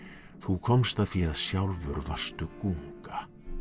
þú komst að því að sjálfur varstu gunga